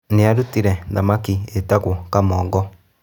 Nĩ arũtire thamaki yĩtago kamogo.